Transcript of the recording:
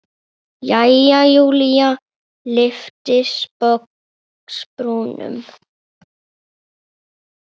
Jæja, Júlía lyfti sposk brúnum.